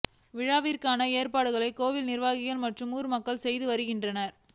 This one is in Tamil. விழாவிற்கான ஏற்பாடுகளை கோயில் நிர்வாகிகள் மற்றும் ஊர்மக்கள் செய்து வருகின்றனர்